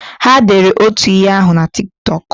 Ha dere otu ihe ahụ na Tik Tọk?